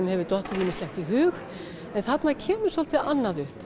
hefur dottið ýmislegt í hug en þarna kemur svolítið annað upp